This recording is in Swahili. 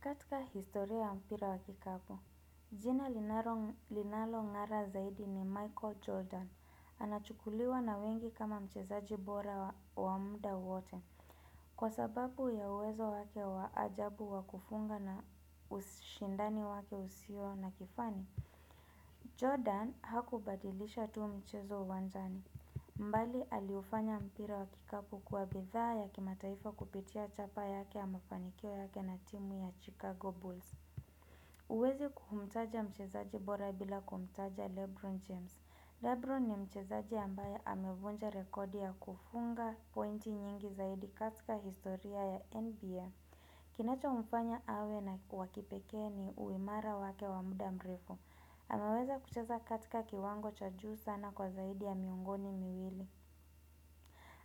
Katika historia ya mpira wa kikapu, jina linalo linalo ngara zaidi ni Michael Jordan, anachukuliwa na wengi kama mchezaji bora wa muda wote, kwa sababu ya uwezo wake wa ajabu wa kufunga na ushindani wake usio na kifani. Jordan hakubadilisha tu mchezo uwanzani. Bali aliufanya mpira wa kikapu kuwa bitha ya kimataifa kupitia chapa yake ya mafanikio yake na timu ya Chicago Bulls. Huwezi kumtaja mchezaji bora bila kumtaja Lebron James. Lebron ni mchezaji ambaye amevunja rekodi ya kufunga pointi nyingi zaidi katika historia ya NBA. Kinachomfanya awe wa kipekee ni uimara wake wa muda mrefu. Anaweza kuchaza katika kiwango cha juu sana kwa zaidi ya miungoni miwili.